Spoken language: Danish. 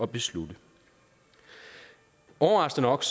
beslutning overraskende nok